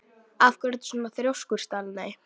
Af hverju ertu svona þrjóskur, Stanley?